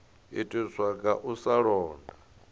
itiswa nga u sa londa